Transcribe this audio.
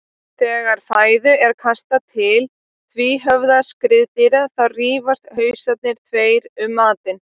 Þegar fæðu er kastað til tvíhöfða skriðdýra þá rífast hausarnir tveir um matinn.